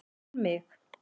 En mig.